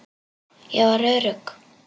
Ég var örugg.